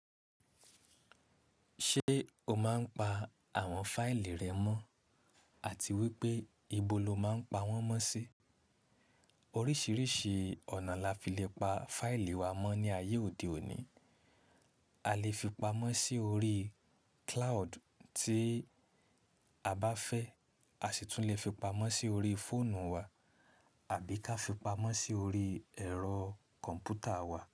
Ṣé o máa ń pa àwọn fáìlì rẹ mọ́? Àti wípé ibo lo máa ń pa wọ́n mọ́ sí? Oríṣiríṣi ọ̀nà la fi lè pa fáìlì wa mọ́ ní ayé òde òní. A lè fi pamọ́ sí orí cloud tí a bá fẹ́, a sì tún lè fi pamọ́ sí orí fóònù wa àbí ká fi pamọ́ sí orí ẹ̀rọ kọ̀m̀pútà wa.